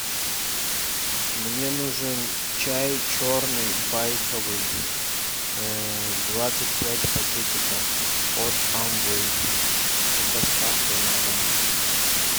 мне нужен чай черный байховый двадцать пять пакетиков от амвей с доставкой на дом